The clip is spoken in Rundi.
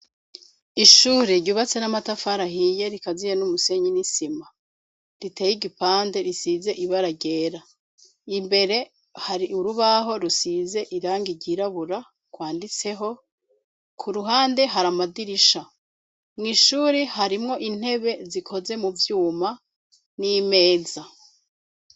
Ishure ryubatse n'amatafar'ahiye rikaziye n'umusenyi n'isima ritey'igipande risize ibara ryera , imbere hari urubaho rusize irangi ryirabura gwanditseho kuruhande har'amadirisha . Mw'ishuri harimwo intebe zikoze mu vyuma n'imeza.